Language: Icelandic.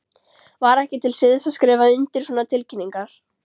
Var ekki til siðs að skrifa undir svona tilkynningar?